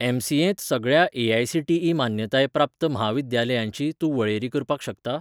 एम.सी.एंत सगळ्या ए.आय.सी.टी.ई. मान्यताय प्राप्त म्हाविद्यालयांची तूं वळेरी करपाक शकता?